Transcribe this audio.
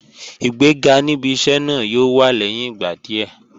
Ìgbéga níbi iṣẹ́ náà yóò wá lẹ́yìn ìgbà díẹ̀